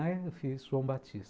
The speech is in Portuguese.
Eu fiz João Batista.